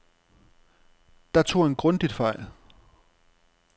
Der tog han grundigt fejl.